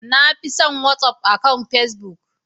Na fi son Whatsaf akan pacebook.